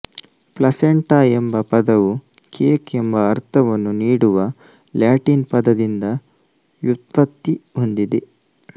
placenta ಎಂಬ ಪದವು cake ಎಂಬ ಅರ್ಥವನ್ನು ನೀಡುವ ಲ್ಯಾಟಿನ್ ಪದದಿಂದ ವ್ಯುತ್ಪತ್ತಿ ಹೊಂದಿದೆ